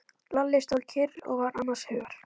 Lalli stóð kyrr og var annars hugar.